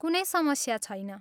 कुनै समस्या छैन।